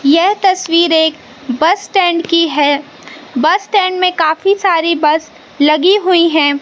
यह तस्वीर एक बस स्टैंड की है बस स्टैंड में काफी सारी बस लगी हुई हैं।